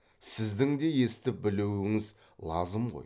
сіздің де естіп білуіңіз лазым ғой